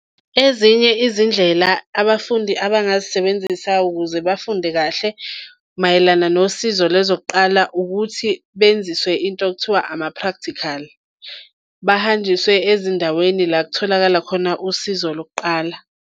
Ezinye izindlela abafundi abangazisebenzisa ukuze bafunde kahle mayelana nosizo lezokuqala ukuthi benziswe into ekuthiwa ama-practical. Bahanjiswe ezindaweni la kutholakala khona usizo lokuqala.